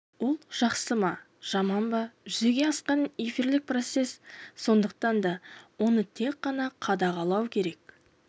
ол жақсы ма жаман ба жүзеге асқан эфирлік процесс сондықтан да оны тек қана қадағалау керек